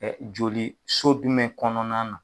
Ɛɛ joli so dumɛn kɔnɔna na.